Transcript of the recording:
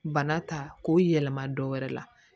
Bana ta k'o yɛlɛma dɔwɛrɛ la